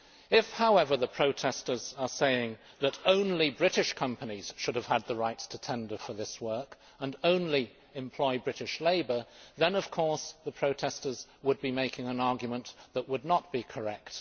If, however, the protesters are saying that only British companies should have had the right to tender for that work and only employ British labour, then, of course, the protesters would be making an argument that would not be correct.